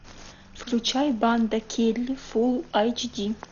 включай банда келли фулл эйч ди